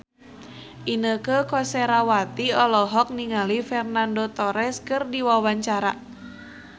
Inneke Koesherawati olohok ningali Fernando Torres keur diwawancara